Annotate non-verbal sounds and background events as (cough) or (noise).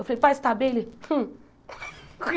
Eu falei, pai, você está bem? ele Hum (laughs)